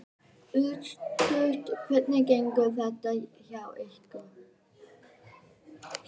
Örstutt, hvernig gengur þetta hjá ykkur?